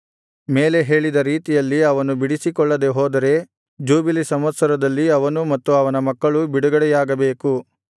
ಮೇಲೆ ಹೇಳಿದ ರೀತಿಯಲ್ಲಿ ಅವನು ಬಿಡಿಸಿಕೊಳ್ಳದೆ ಹೋದರೆ ಜೂಬಿಲಿ ಸಂವತ್ಸರದಲ್ಲಿ ಅವನೂ ಮತ್ತು ಅವನ ಮಕ್ಕಳೂ ಬಿಡುಗಡೆಯಾಗಬೇಕು